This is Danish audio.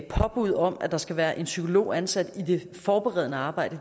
påbud om at der skal være en psykolog ansat i det forberedende arbejde